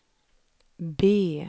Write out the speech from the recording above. B